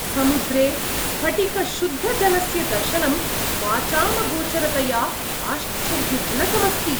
समुद्रे स्फटिकशुद्धजलस्य दर्शनं वाचामगोचरतया आश्चर्यजनकमस्ति।